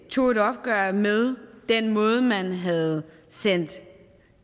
tog et opgør med den måde man havde sendt